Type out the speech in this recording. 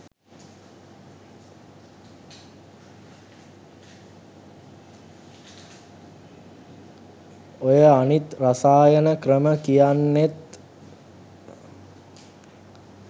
ඔය අනිත් රසායන ක්‍රම කියන්නෙත්